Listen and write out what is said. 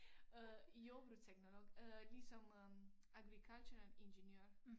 Øh jordbrugsteknolog øh ligesom øh agricultural engineer